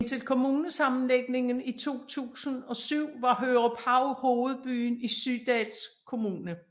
Indtil kommunesammenlægningen i 2007 var Høruphav hovedbyen i Sydals Kommune